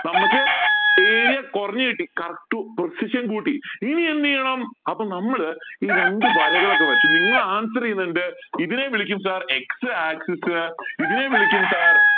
നമ്മക്ക് area കുറഞ്ഞു കിട്ടി correct precision കൂട്ടി ഇനി എന്ത് ചെയ്യണം അപ്പൊ നമ്മൾ ഈ രണ്ട് വരകൾ ഒക്കെ വരച്ചു നിങ്ങൾ answer ചെയുന്നുണ്ട് ഇതിനെ വിളിക്കും sir x axis ഇതിനെ വിളിക്കും sir